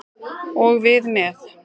Og við með.